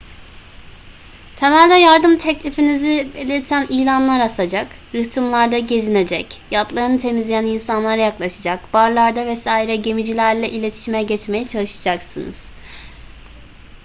temelde yardım teklifinizi belirten ilanlar asacak rıhtımlarda gezinecek yatlarını temizleyen insanlara yaklaşacak barlarda vs gemicilerle iletişime geçmeye çalışacaksınız